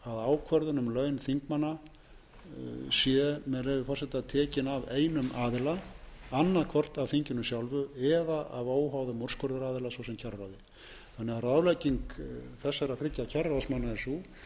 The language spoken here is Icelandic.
að ákvörðun um laun þingmanna sé tekin af einum aðila annaðhvort af þinginu sjálfu eða af óháðum úrskurðaraðila svo sem kjararáði ráðlegging þessara þriggja kjararáðsmanna er sú gerið þið þetta annað